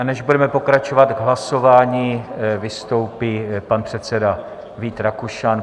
A než budeme pokračovat k hlasování, vystoupí pan předseda Vít Rakušan.